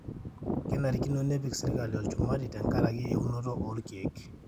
kenarikino nepik sirkali olchumati tenkareki uonoto olkeek